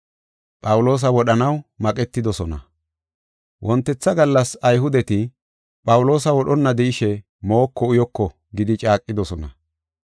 Wontetha gallas Ayhudeti, “Phawuloosa wodhonna de7ishe mooko uyoko” gidi caaqidosona.